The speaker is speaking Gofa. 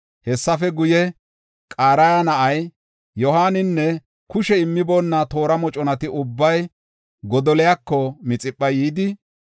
Hessafe guye, Qaraya na7ay Yohaaninne kushe immiboona toora moconati ubbay Godoliyako Mixipha yidi,